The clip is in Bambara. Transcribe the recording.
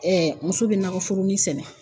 muso bɛ nakɔforonin sɛnɛ